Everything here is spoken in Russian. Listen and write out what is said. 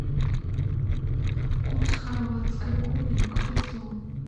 курс хорватской куны к песо